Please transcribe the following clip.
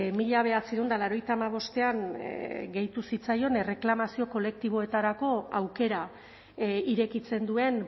mila bederatziehun eta laurogeita hamabostean gehitu zitzaion erreklamazio kolektiboetarako aukera irekitzen duen